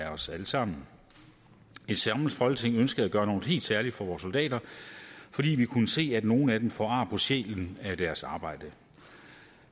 af os alle sammen et samlet folketing ønskede at gøre noget helt særligt for vores soldater fordi vi kunne se at nogle af dem får ar på sjælen af deres arbejde